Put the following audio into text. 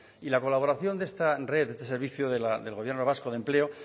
y la colaboración de esta red de este servicio del gobierno vasco de empleo